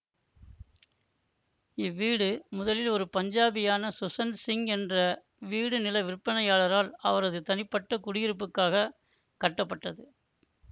இவ்வீடு முதலில் ஒரு பஞ்சாபியான சுசன் சிங் என்ற வீடுநில விற்பனையாளரால் அவரது தனிப்பட்ட குடியிருப்புக்காக கட்டப்பட்டது